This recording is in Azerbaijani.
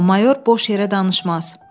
Amma mayor boş yerə danışmaz.